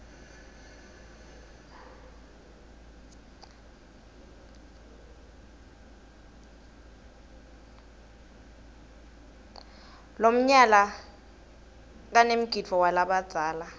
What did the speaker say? lomnyala kanemgidvo walabadzala